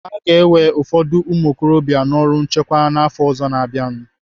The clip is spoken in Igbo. Aga ewe ụfọdụ ụmụokorobịa n'ọrụ nchekwa n'afọ ọzọ na-abịanụ.